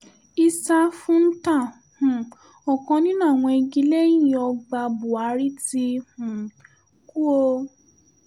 issa fúntà um ọkàn nínú àwọn igi-lẹ́yìn-ọgbà búhárì ti um kú o